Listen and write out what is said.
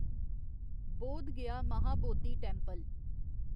Bodh Gaya Mahabodhi temple